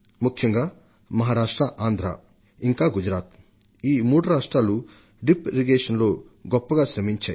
ముఖ్యంగా మహారాష్ట్ర ఆంధ్ర ఇంకా గుజరాత్ ఈ మూడు రాష్ట్రాలు బిందు సేద్యంలో గొప్పగా శ్రమించాయి